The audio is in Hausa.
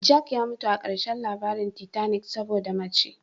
Jack ya mutu a ƙarshen labarin titanic saboda mace.